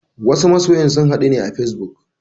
Wasu masyan sun haɗu ne a facebook.